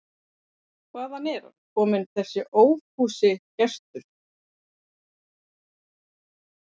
Hvaðan er hann kominn, þessi ófúsugestur?